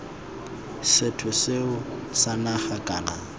sethwe seo sa naga kana